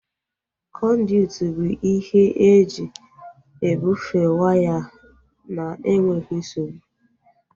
Kọnduit bụ ihe eji ebufee waya na-enweghị nsogbu